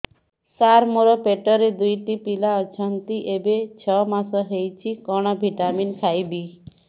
ସାର ମୋର ପେଟରେ ଦୁଇଟି ପିଲା ଅଛନ୍ତି ଏବେ ଛଅ ମାସ ହେଇଛି କଣ ଭିଟାମିନ ଖାଇବି